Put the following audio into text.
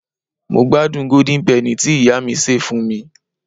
mo gbádùn golden penny ti iya mi ṣe fún mi